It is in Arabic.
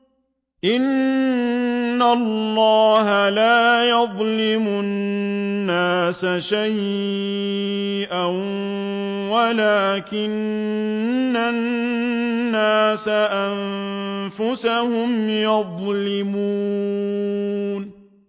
إِنَّ اللَّهَ لَا يَظْلِمُ النَّاسَ شَيْئًا وَلَٰكِنَّ النَّاسَ أَنفُسَهُمْ يَظْلِمُونَ